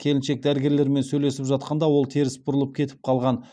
келіншек дәрігерлермен сөйлесіп жатқанда ол теріс бұрылып кетіп қалған